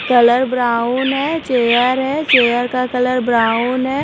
Colour brown है chair है chair का कलर ब्राउन है।